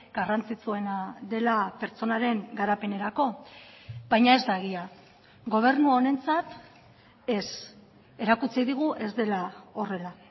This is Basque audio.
garrantzitsuena dela pertsonaren garapenerako baina ez da egia gobernu honentzat ez erakutsi digu ez dela horrela